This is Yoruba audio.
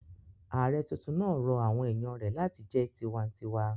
Ààrẹ tuntun rọ àwọn èèyàn rẹ̀ láti jẹ́ tinwatinwa